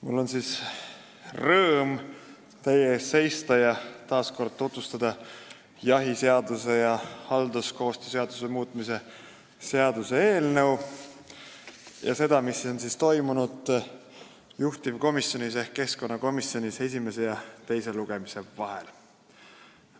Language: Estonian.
Mul on rõõm teie ees seista ning taas kord tutvustada jahiseaduse ja halduskoostöö seaduse muutmise seaduse eelnõu ja seda, mis on toimunud juhtivkomisjonis ehk keskkonnakomisjonis esimese ja teise lugemise vahel.